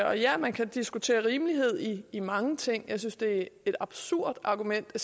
og ja man kan diskutere rimelighed i mange ting jeg synes det er et absurd argument at